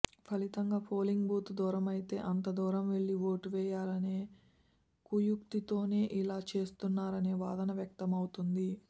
ఫలితంగా polling booth దూరమైతే అంతదూరం వెళ్లి ఓటు వేయరనే కుయుక్తితోనే ఇలా చేస్తున్నారనే వాదన వ్యక్తమవుతోంది